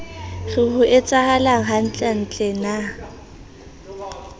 re ho etsahalang hantlentle na